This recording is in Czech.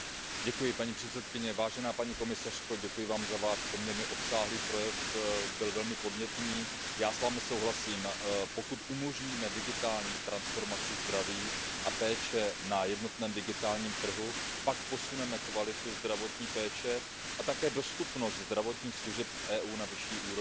Paní předsedající, paní komisařko, děkuji Vám za Váš poměrně obsáhlý projev, byl velmi podnětný. Já s Vámi souhlasím, pokud umožníme digitální transformaci zdraví a péče na jednotném digitálním trhu, pak posuneme kvalitu zdravotní péče a také dostupnost zdravotních služeb v Evropské unii na vyšší úroveň.